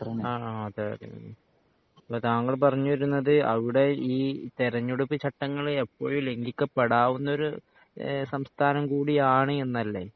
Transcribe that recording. അഹ് അഹ് അതെയതെ അപ്പൊ താങ്കൾ പറഞ്ഞുതു വരുന്നത് അവിടെ ഈ തെരഞ്ഞെടുപ്പ് ചട്ടങ്ങൾ എപ്പോഴും ലംഖിക്കപ്പെടാവുന്ന ഒരു എഹ് സംസ്ഥാനം കൂടി ആണ് എന്നല്ലേ